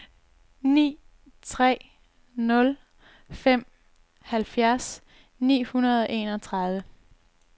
ni tre nul fem halvfjerds ni hundrede og enogtredive